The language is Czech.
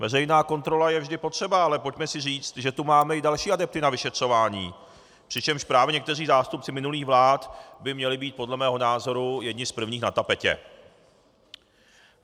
Veřejná kontrola je vždy potřeba, ale pojďme si říct, že tu máme i další adepty na vyšetřování, přičemž právě někteří zástupci minulých vlád by měli být podle mého názoru jedni z prvních na tapetě.